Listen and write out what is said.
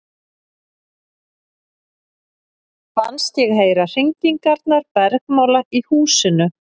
Fannst ég heyra hringingarnar bergmála í húsinu.